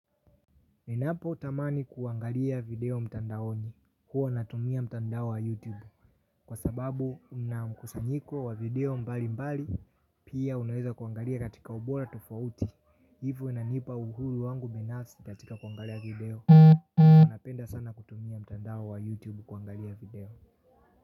Ninapo tamani kuangalia video mtandaoni huwa natumia mtandao wa youtube. Kwa sababu unamkusanyiko wa video mbali mbali pia unaweza kuangalia katika ubora tofauti. Hivo inanipa uhuru wangu binafsi katika kuangalia video. Unapenda sana kutumia mtandao wa youtube kuangalia video.